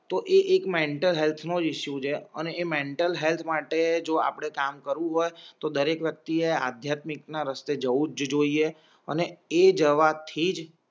તો એ એક મેન્ટલ હેલ્થનો ઇશ્યુ છે અને મેન્ટલ હેલ્થ માટે જો આપણે કામ કરવું હોય તો દરેક વ્યક્તિ આધ્યાત્મિક રસ્તે જવું જ જોઇએ અને એ જવાથી જ